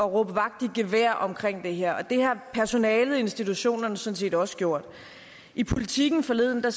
råbe vagt i gevær omkring det her og det har personalet i institutionerne sådan set også gjort i politiken forleden så